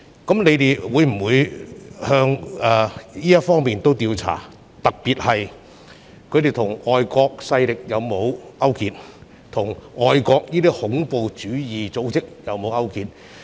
我想問局長會否循這方面調查，特別是他們有否與外國勢力或外國恐怖主義組織勾結？